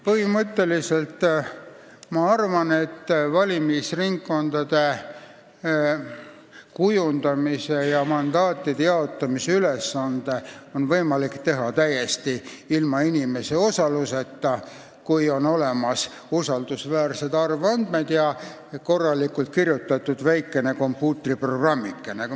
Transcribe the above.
Põhimõtteliselt ma arvan, et valimisringkondade kujundamise ja mandaatide jaotamise ülesannet on võimalik täita täiesti ilma inimese osaluseta, kui on olemas usaldusväärsed arvandmed ja korralikult kirjutatud väikene kompuutriprogrammikene.